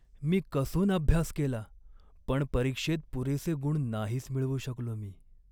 मी कसून अभ्यास केला, पण परीक्षेत पुरेसे गुण नाहीच मिळवू शकलो मी.